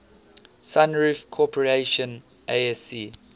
sunroof corporation asc